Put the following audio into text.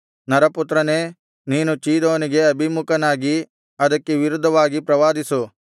ನರಪುತ್ರನೇ ನೀನು ಚೀದೋನಿಗೆ ಅಭಿಮುಖನಾಗಿ ಅದಕ್ಕೆ ವಿರುದ್ಧವಾಗಿ ಪ್ರವಾದಿಸು